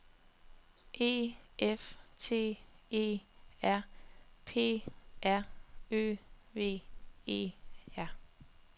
E F T E R P R Ø V E R